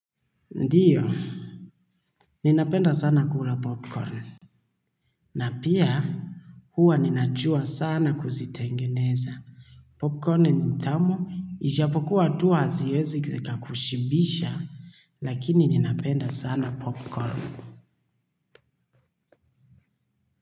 Ndio, ninapenda sana kula popcorn. Na pia, huwa ninajua sana kuzitengeneza. Popcorn ni tamu, ijapokuwa tu haaziezi zika kushibisha, lakini ninapenda sana popcorn.